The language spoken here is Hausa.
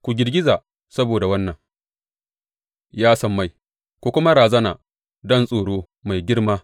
Ku girgiza saboda wannan, ya sammai, ku kuma razana don tsoro mai girma,